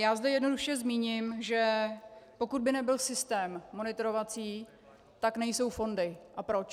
Já zde jednoduše zmíním, že pokud by nebyl systém monitorovací, tak nejsou fondy a proč.